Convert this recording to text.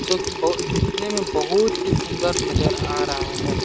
जोकि बहु दिखने में बहुत ही सुंदर नजर आ रहा हैं ।